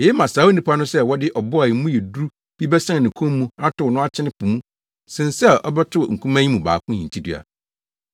Eye ma saa onipa no sɛ wɔde ɔbo a mu yɛ duru bi bɛsen ne kɔn mu atow no akyene po mu sen sɛ ɔbɛto nkumaa yi mu baako hintidua.